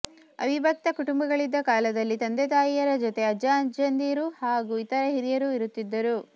ಅವಿಭಕ್ತ ಕುಟುಂಬಗಳಿದ್ದ ಕಾಲದಲ್ಲಿ ತಂದೆತಾಯಿಯರ ಜೊತೆ ಅಜ್ಜಅಜ್ಜಿಯಂದಿರು ಹಾಗೂ ಇತರ ಹಿರಿಯರೂ ಇರುತ್ತಿದ್ದರು